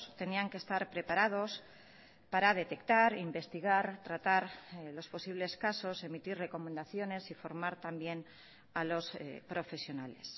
tenían que estar preparados para detectar investigar tratar los posibles casos emitir recomendaciones y formar también a los profesionales